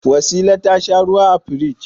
Wasila ta sha ruwa a firigi.